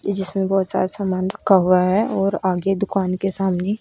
जिसमें बहोत सारा सामान रखा हुआ है और आगे दुकान के सामने--